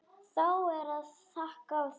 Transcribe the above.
Þá er að taka því.